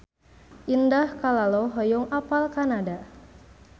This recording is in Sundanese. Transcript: Indah Kalalo hoyong apal Kanada